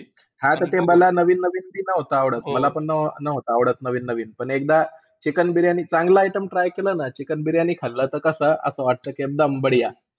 हा त ते मला नवीन-नवीन नाही आवडत. मला पण न्हवता आवडत नवीन-नवीन. पण एकदा चिकन बिर्याणी चांगला item try केला ना. Chicken बिर्याणी खाल्ला ता कसं असं वाटतं की एकदम बढिया